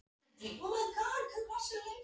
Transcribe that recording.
spurði ég Sölva en hann svaraði engu.